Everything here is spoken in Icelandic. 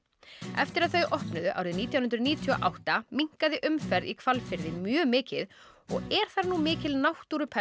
eftir að þau opnuðu árið nítján hundruð níutíu og átta minnkaði umferð í Hvalfirði mjög mikið og er þar nú mikil náttúruperla